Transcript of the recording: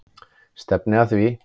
Stefni að því.